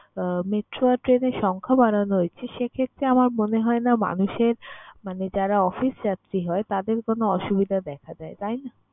metro আর train এর সংখ্যা বাড়ানো হয়েছে সেক্ষেত্রে আমার মনে হয় না মানুষের মানে যারা অফিস যাত্রী হয় তাদের কোন অসুবিধা দেখা দেয়, তাই না?